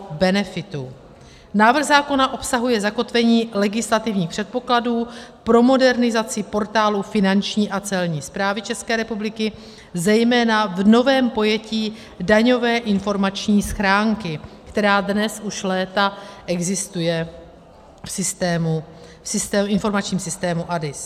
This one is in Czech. Návrh zákona obsahuje zakotvení legislativních předpokladů pro modernizaci portálu Finanční a Celní správy České republiky, zejména v novém pojetí daňové informační schránky, která dnes u léta existuje v informačním systému ADIS.